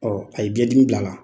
Ɔ a ye biɲɛn dimi bila' la!